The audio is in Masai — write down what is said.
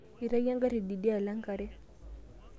Eitayio engari teidialo enkare.